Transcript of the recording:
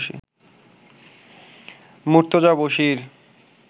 Murtaza Bashir